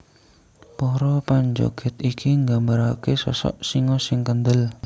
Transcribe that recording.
Para panjogèd iki nggambaraké sosok singa sing kendel